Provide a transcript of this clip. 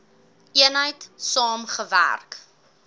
eenheid saam gewerk